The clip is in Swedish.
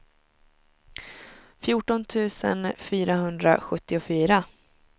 fjorton tusen fyrahundrasjuttiofyra